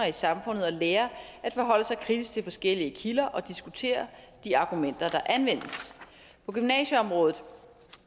i samfundet og lære at forholde sig kritisk til forskellige kilder og diskutere de argumenter der anvendes på gymnasieområdet